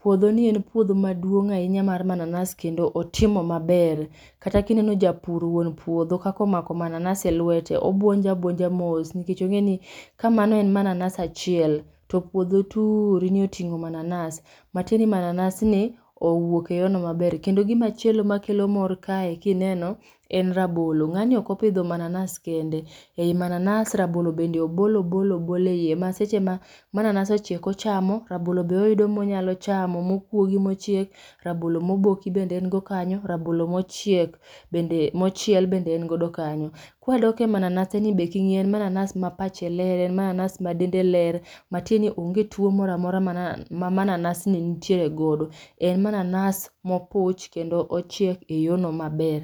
Puodho ni en puodho maduong' ahinya mar mananas kendo otimo maber. Kata kineno japur wuon puodho kaka omako mananas e lwete, obwonjo abwonja mos nikech ong'e ni ka mano en mananas achiel, to puodho turi ni oting'o mananas, matie ni mananas ni owuok e yo no maber. Kendo gimachielo makelo mor kae kineno, en rabolo. Ng'ani ok opidho mananas kende. Ei mananas rabolo bende obolo obolo obolo ei iye. Maseche ma mananas ochiek, ochamo, rabolo be oyudo monyalo chamo mokuogi mochiek. Rabolo moboki be en go kanyo. Rabolo mochiek bende, mochiel bende en godo kanyo. Kwadok e mananas ni be king'iyo en mananas ma pache ler, en mananas ma dende ler. Matie ni onge tuwo moramora ma mananas ni nitiere godo. En mananas mopuch kendo ochiek e yo no maber.